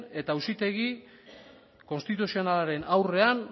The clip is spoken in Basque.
eta auzitegi konstituzionalaren aurrean